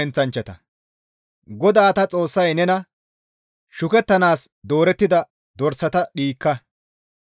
GODAA ta Xoossay nena, «Shukettanaas doorettida dorsata dhiikka.